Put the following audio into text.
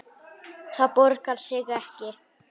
Það borgar sig ekki